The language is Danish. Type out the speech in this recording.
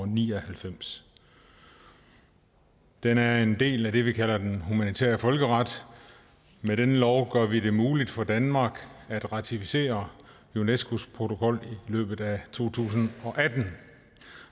ni og halvfems den er en del af det vi kalder den humanitære folkeret med denne lov gør vi det muligt for danmark at ratificere unescos protokol i løbet af to tusind og atten